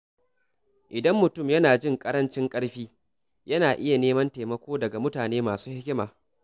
Idan mutum yana jin ƙarancin ƙarfi, yana iya neman taimako daga mutane masu hikima.